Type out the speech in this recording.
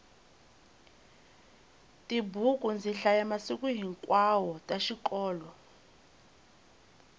tibuku ndzi hlaya masiku hinkwawo ta xikolo